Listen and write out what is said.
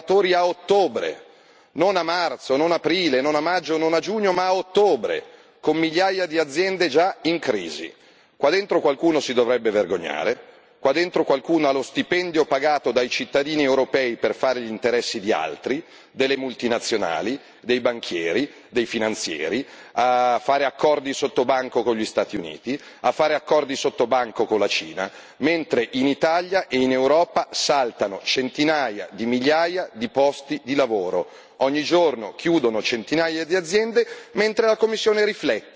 Oggi la grande notizia è che per la prima volta nella storia l'Europa pagherà i suoi allevatori a ottobre, non a marzo, non ad aprile, non a maggio, non a giugno, ma a ottobre, con migliaia di aziende già in crisi. Qua dentro qualcuno si dovrebbe vergognare, qua dentro qualcuno ha lo stipendio pagato dai cittadini europei per fare gli interessi di altri, delle multinazionali, dei banchieri, dei finanzieri, per fare accordi sottobanco con gli Stati Uniti, per fare accordi sottobanco con la Cina, mentre in Italia e in Europa saltano centinaia di migliaia di posti di lavoro.